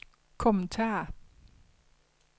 kommentar